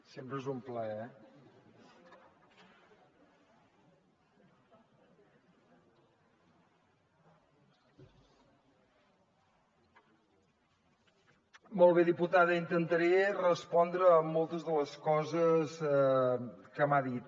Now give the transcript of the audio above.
sempre és un plaer eh molt bé diputada intentaré respondre a moltes de les coses que m’ha dit